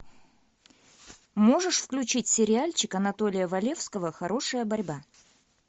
можешь включить сериальчик анатолия валевского хорошая борьба